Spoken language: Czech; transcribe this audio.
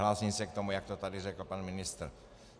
Hlásím se k tomu, jak to tady řekl pan ministr.